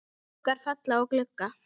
Skuggar falla á glugga.